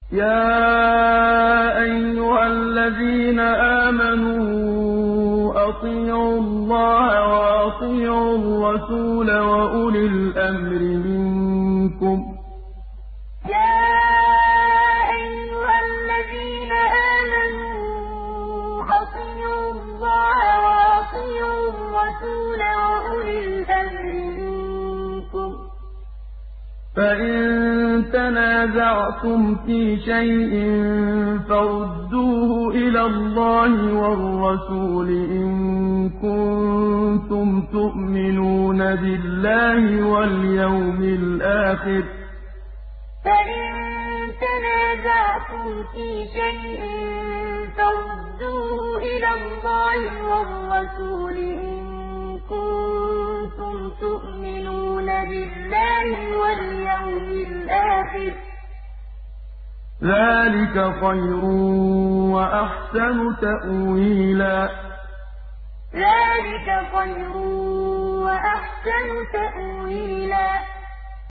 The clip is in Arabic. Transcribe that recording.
يَا أَيُّهَا الَّذِينَ آمَنُوا أَطِيعُوا اللَّهَ وَأَطِيعُوا الرَّسُولَ وَأُولِي الْأَمْرِ مِنكُمْ ۖ فَإِن تَنَازَعْتُمْ فِي شَيْءٍ فَرُدُّوهُ إِلَى اللَّهِ وَالرَّسُولِ إِن كُنتُمْ تُؤْمِنُونَ بِاللَّهِ وَالْيَوْمِ الْآخِرِ ۚ ذَٰلِكَ خَيْرٌ وَأَحْسَنُ تَأْوِيلًا يَا أَيُّهَا الَّذِينَ آمَنُوا أَطِيعُوا اللَّهَ وَأَطِيعُوا الرَّسُولَ وَأُولِي الْأَمْرِ مِنكُمْ ۖ فَإِن تَنَازَعْتُمْ فِي شَيْءٍ فَرُدُّوهُ إِلَى اللَّهِ وَالرَّسُولِ إِن كُنتُمْ تُؤْمِنُونَ بِاللَّهِ وَالْيَوْمِ الْآخِرِ ۚ ذَٰلِكَ خَيْرٌ وَأَحْسَنُ تَأْوِيلًا